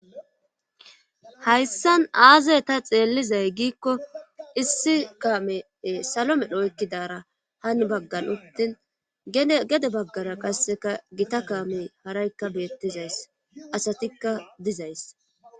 hayssan aaze ta xeellizay giikko issi kamee salo medho oykkidara hani baggan uttin gede baggara qasseka gita kaamey haraykka beettizayssi asatikka dizayssa.